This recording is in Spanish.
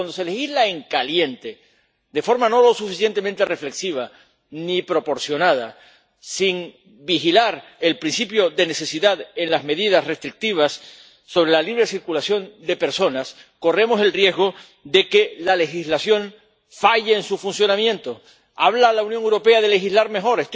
Porque cuando se legisla en caliente, de forma no lo suficientemente reflexiva ni proporcionada, sin vigilar el principio de necesidad en las medidas restrictivas de la libre circulación de personas, corremos el riesgo de que la legislación falle en su funcionamiento. Habla la Unión Europea de legislar mejor.